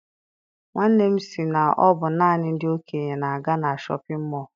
Nwanne m si na ọ bụ naanị ndị okenye na-aga na shọpịn mọọ.